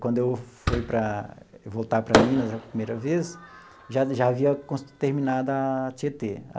Quando eu fui para voltar para Minas a primeira vez, já já havia terminado a Tietê.